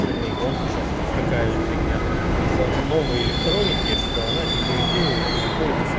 машины и пром участков такая же фигня из за новой электроники что она деградирует и выходит из